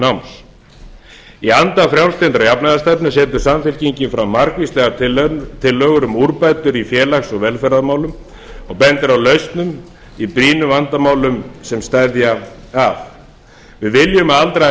náms í anda frjálslyndrar jafnaðarstefnu setur samfylkingin fram margvíslegar tillögur um úrbætur í félags og velferðarmálum og bendir á lausnir í brýnum vandamálum sem steðja að við viljum að aldraðir